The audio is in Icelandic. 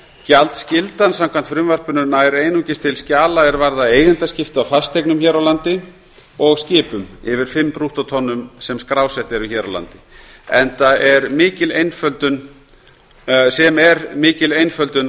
gjaldskyldan samkvæmt frumvarpinu nær einungis til þeirra skjala er varða eigendaskipti á fasteignum hér á landi og skipum yfir fimm brúttótonnum sem skrásett eru hér á landi sem er mikil einföldun